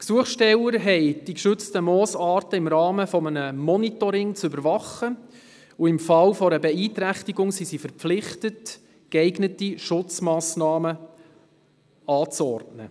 Die Gesuchstellerin hat die geschützten Moosarten im Rahmen eines Monitorings zu überwachen und ist im Fall einer Beeinträchtigung verpflichtet, geeignete Schutzmassnahmen anzuordnen.